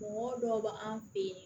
Mɔgɔ dɔw be an fe yen